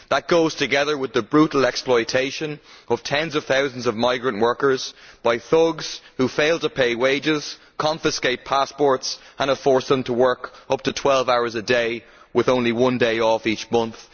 That goes together with the brutal exploitation of tens of thousands of migrant workers by thugs who fail to pay wages, confiscate passports and have forced people to work up to 12 hours a day, with only one day off a month.